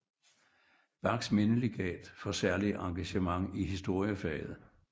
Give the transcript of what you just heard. Bachs mindelegat for særligt engagement i historiefaget